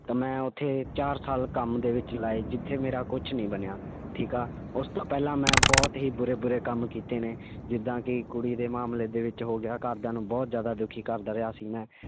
ਤਾਂ ਮੈਂ ਉੱਥੇ ਚਾਰ ਸਾਲ ਕੰਮ ਦੇ ਵਿੱਚ ਲਾਏ ਜਿੱਥੇ ਮੇਰਾ ਕੁਛ ਨੀ ਬਣਿਆ, ਠੀਕ ਆ, ਉਸ ਤੋਂ ਪਹਿਲਾਂ ਮੈਂ ਬਹੁਤ ਹੀ ਬੁਰੇ ਬੁਰੇ ਕੰਮ ਕੀਤੇ ਨੇ ਜਿੱਦਾਂ ਕਿ ਕੁੜੀ ਦੇ ਮਾਮਲੇ ਦੇ ਵਿੱਚ ਹੋ ਗਿਆ, ਘਰਦਿਆਂ ਨੂੰ ਬਹੁਤ ਜ਼ਿਆਦਾ ਦੁੱਖੀ ਕਰਦਾ ਰਿਹਾ ਸੀ ਮੈਂ